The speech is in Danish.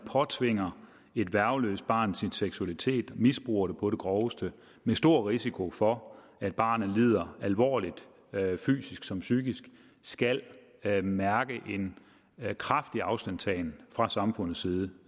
påtvinger et værgeløst barn sin seksualitet og misbruger det på det groveste med stor risiko for at barnet lider alvorligt fysisk som psykisk skal skal mærke en kraftig afstandtagen fra samfundets side